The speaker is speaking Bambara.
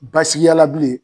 Basigiyala bilen